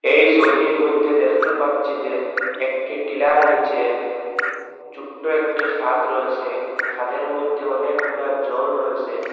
এই সবিটির মইধ্যে দেখতে পাচ্ছি যে একটি টিলার নিচে চুট্টো একটি খাদ রয়েসে খাদের মধ্যে অনেকগুলা জল রয়েসে।